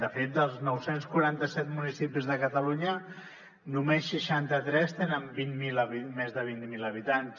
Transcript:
de fet dels nou cents i quaranta set municipis de catalunya només seixanta tres tenen més de vint miler habitants